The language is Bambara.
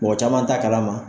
Mɔgɔ caman t'a kalama.